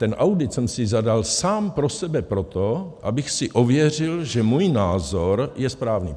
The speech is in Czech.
Ten audit jsem si zadal sám pro sebe proto, abych si ověřil, že můj názor je správný.